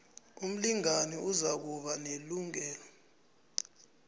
umlingani uzokuba nelungelo